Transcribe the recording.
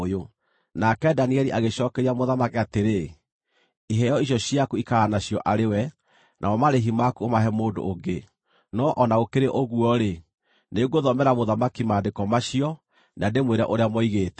Nake Danieli agĩcookeria mũthamaki atĩrĩ, “Iheo icio ciaku ikara nacio arĩ we, namo marĩhi maku ũmahe mũndũ ũngĩ. No o na gũkĩrĩ ũguo-rĩ, nĩngũthomera mũthamaki maandĩko macio, na ndĩmwĩre ũrĩa moigĩte.